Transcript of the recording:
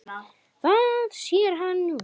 Það sér hann núna.